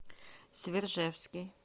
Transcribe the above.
свержевский